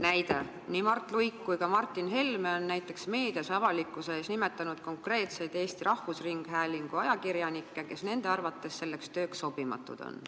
Näide: nii Mart Luik kui ka Martin Helme on meedias avalikkuse ees nimetanud konkreetseid Eesti Rahvusringhäälingu ajakirjanikke, kes nende arvates selleks tööks sobimatud on.